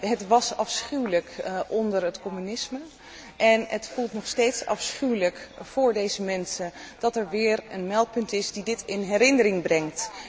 Het was afschuwelijk onder het communisme en het is nog steeds afschuwelijk voor deze mensen dat er weer een meldpunt is dat dit in herinnering brengt.